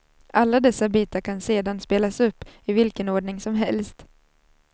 Alla dessa bitar kan sedan spelas upp i vilken ordning som helst.